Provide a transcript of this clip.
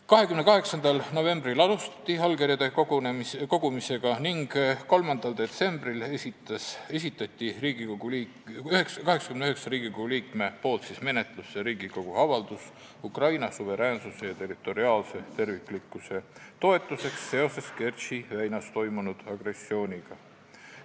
28. novembril alustati allkirjade kogumist ning 3. detsembril esitati 89 Riigikogu liikme nimel menetlusse Riigikogu avaldus "Ukraina suveräänsuse ja territoriaalse terviklikkuse toetuseks seoses Kertši väinas toimunud agressiooniga".